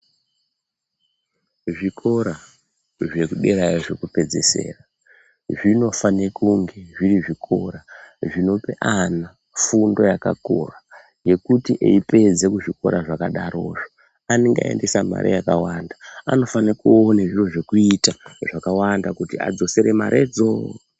Zvikora zvekuderayo zvekupedzesera zvinofane kunge zviri zvikora zvinope ana fundo yakakura yekuti eipedze kuzvikora zvakadarozvo anenge aendesa mare yakawanda anofane kuona zviro zvekuita zvakawanda kuti adzosere maredzo.